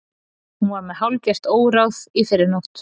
Hún var með hálfgert óráð í fyrrinótt.